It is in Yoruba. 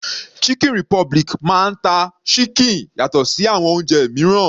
Chicken republic máa ń ta ṣíkìn yàtọ̀ sí àwọn oúnjẹ mìíràn.